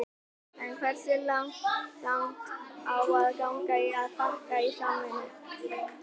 En hversu langt á að ganga í að fækka og sameina?